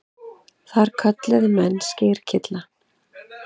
Það kölluðu menn skyrkylla.